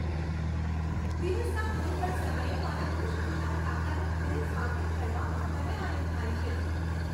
દિવસના કોઈપણ સમયે મારા ખુશખુશાલ કાકાનું ઘરે સ્વાગત કરવામાં મને આનંદ થાય છે.